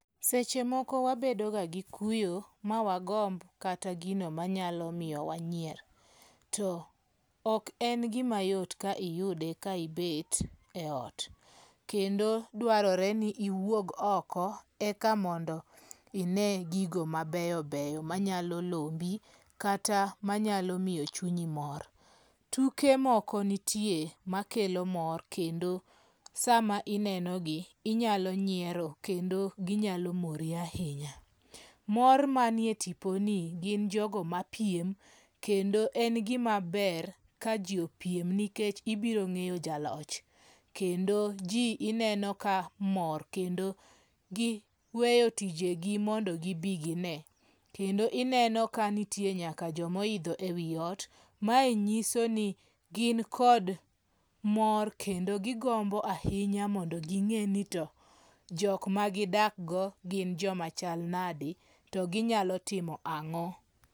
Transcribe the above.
Seche moko wabedo ga gi kuyo ma wagomb kata gino manyalo miyo wanyier. To ok en gima yot ka iyude ka ibet e ot. Kendo dwarore ni iwuog oko eka mondo ine gigo mabeyo beyo manyalo lombi kata manyalo miyo chunyi mor. Tuke moko nitie makelo mor kendo sa ma inenogi inyalo nyiero kendo ginyalo mori ahinya. Mor manie tipo ni gin jogo mapiem kendo en gima ber ka ji opiem nikech ibiro ng'eyo jaloch. Kendo ji ineno ka mor kendo giweyo tijegi mondo gi bi gine. Kendo ineno ka nitie nyaka joma oidho e wi ot. Mae nyiso ni gin kod mor kendo gigombo ahinya mondo ging'e ni to jok ma gidak go gin joma chal nade to ginyalo timo ang'o?